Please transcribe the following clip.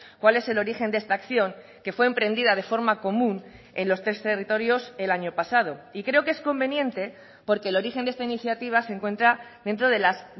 cuál es el origen de esta acción que fue emprendida de forma común en los tres territorios el año pasado y creo que es conveniente porque el origen de esta iniciativa se encuentra dentro de las